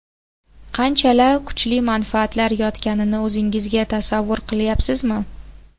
Qanchalar kuchli manfaatlar yotganini o‘zingizga tasavvur qilyapsizmi?